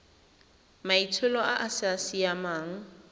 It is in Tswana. maitsholo a a sa siamang